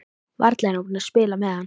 Varla er hún að spila með hann?